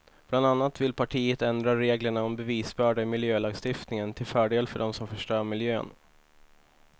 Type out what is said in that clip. Bland annat vill partiet ändra reglerna om bevisbörda i miljölagstiftningen till fördel för dem som förstör miljön.